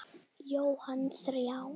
Jóhann: Þrjár?